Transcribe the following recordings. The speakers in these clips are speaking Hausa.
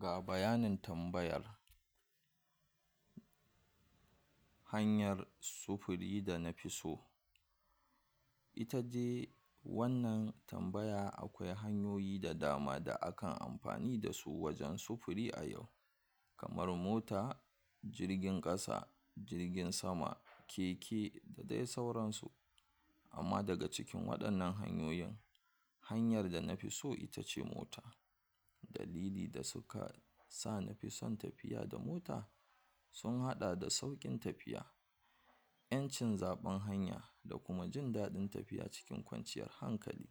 Ga bayanin tambayar hanyar sufuri da nafi so, ita de wannan tambaya akwai hanyoyi da dama da akan amfani dasu wajen sufuri a yau kamar: Mota jirgin ƙasa jirgin sama, keke da de sauransu, amma daga cikin waɗannan hanyoyin hanyar da nafi so ita ce mota, dalin da suka sa nafi son tafiya da mota sun haɗa da sauƙin tafiya, ƴancin zaɓen hanya, da kuma jin daɗin tafiya cikin kwanciyar hankali,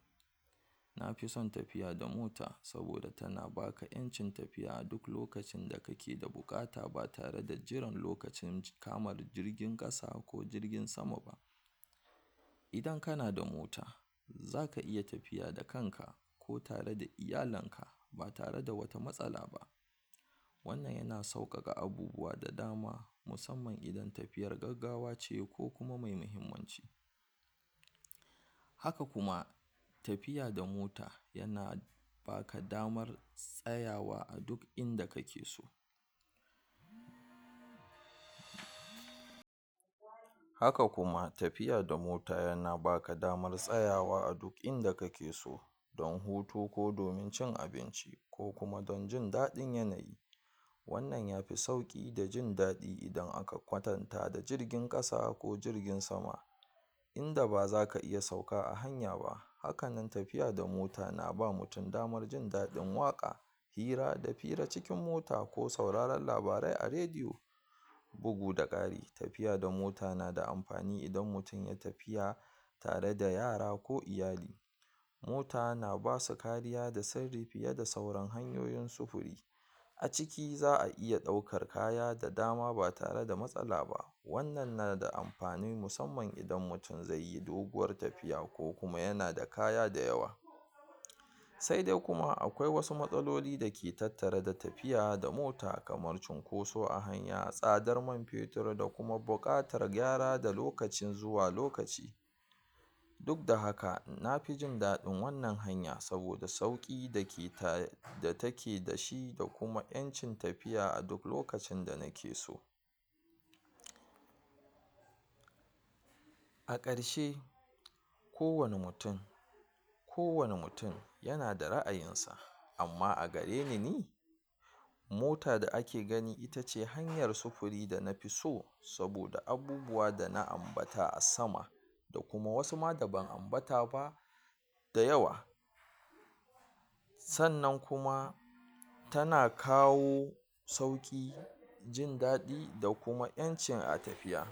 nafi son tafiya da mota saboda tana baka ƴancin tafiya duk lokacin da kake da da buƙata ba tare da jiran lokacin cikamar jirgin ƙasa ko jirgin sama ba, idan kana da mota zaka iya tafiya da kanka ko tare da iyalinka, ba tare da wata matsala ba, wannan yana sauƙaƙa abubuwa da dama musamman idan tafiyar gaggawace ko me muhimmanci, haka kuma tafiya da mota yana baka damar tsayawa a duk inda kake so, haka kuma tafiya da mota yana baka damar tsayawa a duk inda kake so, don hutu ko domin cin abinci, ko kuma don jin daɗin yanayi, wannan yafi sauƙi da jin daɗi, idan aka kwatanta da jirgin ƙasa ko jirgin sama, inda ba zaka iya sauka a hanya ba, haka nan tafiya da mota na ba mutin jin daɗin waƙa hira da fira a cikin mota ko sauraran labarai a rediyo, bugu da ƙari tafiya da mota nada amafani idan mutin ya tafiya tare da yara ko iyali, mota na basu kariya da sirri fiye da sauran hanyoyin sufuri, a ciki za'a iya ɗaukar kaya da dama ba tare da matsala ba, wannan nada amfani musamman idan mutun zeyi doguwar tafiya ko yana da kaya da yawa, sai dai kuma akwai wasu matsaloli dake tattare da tafiya da mota kamar cunkoso a hanya, tsadar man fetur da kuma buƙar gyara da lokacin zuwa lokaci, duk da haka nafi jin daɗin wannan hanya saboda sauƙi dake da take da shi da kuma ƴancin tafiya a duk lokacin da nake so. A ƙarshe kowane mutin kowane mutin yana da ra'ayinsa, amma a gareni ni mota da ake gani itace hanyar sufuri da nafi so, saboda abubuwa da na ambata a sama, da kuma wasu ma da ban ambata ba da yawa, sannan kuma tana kawo sauƙi, jin daɗi da kuma ƴancin a tafiya.